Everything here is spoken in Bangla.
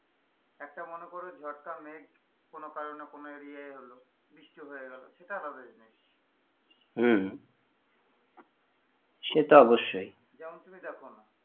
একটা মনে করো ঝটকা মেঘ কোন কারণে কোন area আই এল বৃষ্টি হয়ে গেলো সেটা আলাদা জিনিস হম সে তো অবশ্যই যেমন তুমি দেখো না,